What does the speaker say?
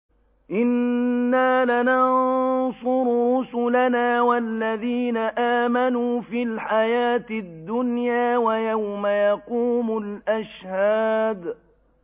إِنَّا لَنَنصُرُ رُسُلَنَا وَالَّذِينَ آمَنُوا فِي الْحَيَاةِ الدُّنْيَا وَيَوْمَ يَقُومُ الْأَشْهَادُ